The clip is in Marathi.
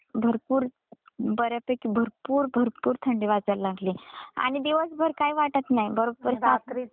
भरपूर, बऱ्यापैकी भरपूर, भरपूर थंडी वाजायला लागलीये आणि दिवसभर काही वाटत नाही बरोब्बर रात्रीच.